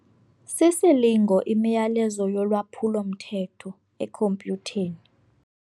Sisilingo imiyalezo yolwaphulo-mthetho ekhompyutheni.